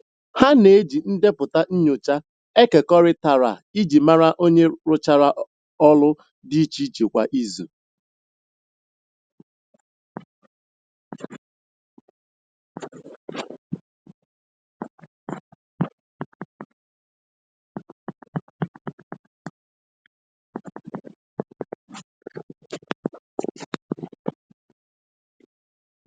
Ha n'eji ndepụta nyocha ekekọrịtara iji mara onye rụchara ọlụ di iche iche kwa izu.